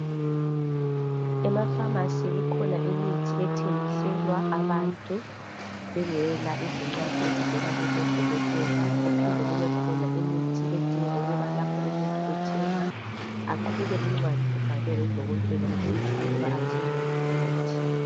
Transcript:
Ema pharmacy ikhona imithi ethengiselwa abantu bengela izincwadi ezivela kubodokotela, kuphinde kubekhona imithi edinga ukuba lapho umuntu ethenga aqhube incwadi ebhalwe ngudokotela esitsho ukuba athenge uphi umuthi.